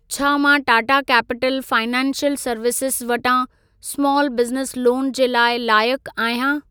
छा मां Tata capital financial services वटां स्माल बिज़नेस लोन जे लाइ लायक आहियां?